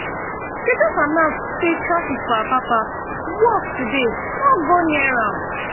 dem just announce say traffic for apapa worse today no go near am